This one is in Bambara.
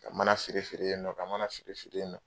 Ka mana feere feere yen nɔ , ka mana siri siri yen nɔ.